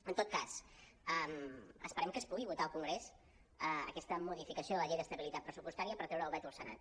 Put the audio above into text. en tot cas esperem que es pugui votar al congrés aquesta modificació de la llei d’estabilitat pressupostària per treure el veto al senat